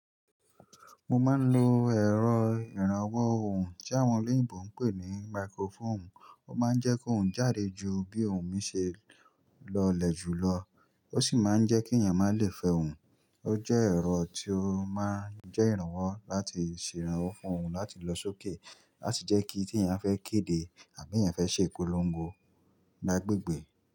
Mo máa ń lo ẹ̀rọ ìrànwọ́ ohùn tí àwọn olóyìnbo ń pè ní microphone. Ó máa ń jẹ́ kó ohùn jáde ju bí ohùn mi ṣe lọ lè jù lọ. Ó sì máa ń jẹ́ kí èèyàn má lè fẹ ohùn. Ó jẹ́ ẹ̀rọ tí ó máa ń jẹ́ ìrànwọ́ láti ṣe ìrànwọ́ fún ohùn láti lọ sókè láti jẹ́ kí tí èèyàn fẹ́ kéde àbí èèyàn fẹ́ ṣe ìpolongo lá gbègbẹ̀